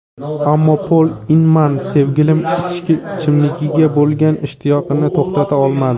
Ammo Pol Inman sevimli ichimligiga bo‘lgan ishtiyoqini to‘xtata olmadi.